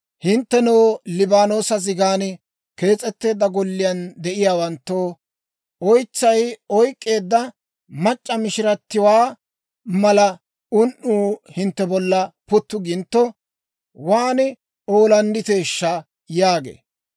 Hinttenoo, Liibaanoosa zigan kees'etteedda golliyaan de'iyaawanttoo, oytsay oyk'k'eedda mac'c'a mishiratiwaa mala un"uu hintte bolla puttu gintto, waan oolandditeeshsha!» yaagee.